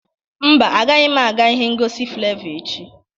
Mba, agaghị m aga ihe ngosi Flevọ echi